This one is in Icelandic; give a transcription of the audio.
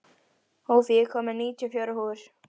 Hófí, ég kom með níutíu og fjórar húfur!